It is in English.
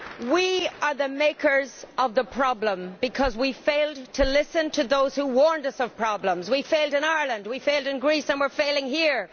We are the makers of the problem, because we failed to listen to those who warned us of problems we failed in Ireland, we failed in Greece and we are failing here.